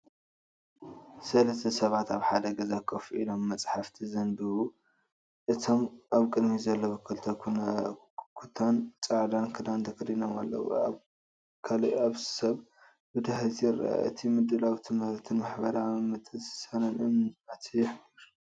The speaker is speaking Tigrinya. ሰለስተ ሰባት ኣብ ሓደ ገዛ ኮፍ ኢሎም መጻሕፍቲ ዘንብቡ። እቶም ኣብ ቅድሚት ዘለዉ ክልተ ኩታን ጻዕዳ ክዳንን ተኸዲኖም ኣለዉ። ካልእ ሰብ ብድሕሪት ይርአ። እቲ ምድላው ትምህርትን ማሕበራዊ ምትእስሳርን እምነት ይሕብር።